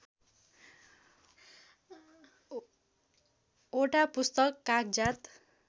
वटा पुस्तक कागजात